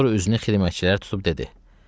Sonra üzünü xidmətçilərə tutub dedi: